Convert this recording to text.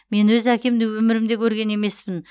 мен өз әкемді өмірімде көрген емеспін